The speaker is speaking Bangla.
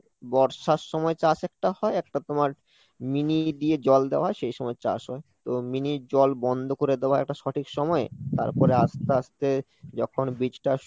বর্ষার সময় চাষ একটা হয় একটা তোমার mini দিয়ে জল দেওয়া সেই সময় চাষ হয়, তো mini র জল বন্ধ করে দেওয়া একটা সঠিক সময় তারপরে আস্তে আস্তে যখন বীজটা